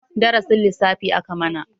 Darasin lissafi aka mana.